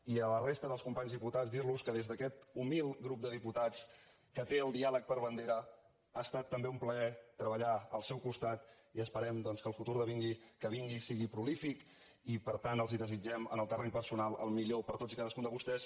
i a la resta dels companys diputats dir los que des d’aquest humil grup de diputats que té el diàleg per bandera ha estat també un plaer treballar al seu costat i esperem doncs que el futur que vingui sigui prolífic i per tant els desitgem en el terreny personal el millor per a tots i cadascun de vostès